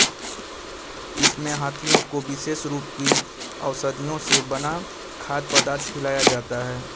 इसमें हाथियों को विशेष रूप की औषधियों से बना खाद्य पदार्थ खिलाया जाता है